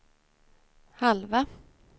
halva